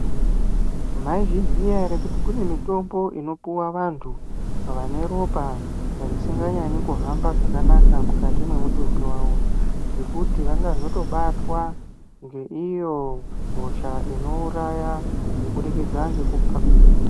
Maizviziya ere kuti kune mitombo inopuwa vantu vane ropa risinganyanyi kuhamba zvakanaka mukati mwemutumbi wavo ngekuti vanozotobatwa ngeiyo hosha inouraya kubudikidza ngekupa.